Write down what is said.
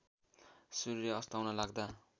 सूर्य अस्ताउन लाग्दा